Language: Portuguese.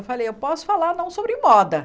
Eu falei, eu posso falar não sobre moda.